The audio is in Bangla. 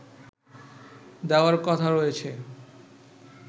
দেওয়ার কথা রয়েছে